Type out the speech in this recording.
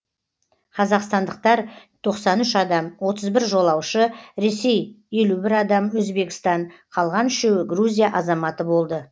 қазақстандықтар тоқсан үш адам отыз бір жолаушы ресей елу бір адам өзбекстан қалған үшеуі грузия азаматы болды